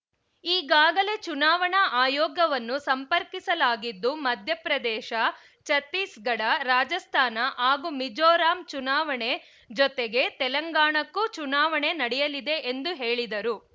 ಈಗಾಗಲೇ ಚುನಾವಣಾ ಆಯೋಗವನ್ನು ಸಂಪರ್ಕಿಸಲಾಗಿದ್ದು ಮಧ್ಯಪ್ರದೇಶ ಛತ್ತೀಸ್‌ಗಢ ರಾಜಸ್ಥಾನ ಹಾಗೂ ಮೀಜೋರಂ ಚುನಾವಣೆ ಜತೆಗೇ ತೆಲಂಗಾಣಕ್ಕೂ ಚುನಾವಣೆ ನಡೆಯಲಿದೆ ಎಂದು ಹೇಳಿದರು